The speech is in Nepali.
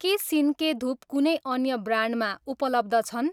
के सिन्के धुप कुनै अन्य ब्रान्डमा उपलब्ध छन्?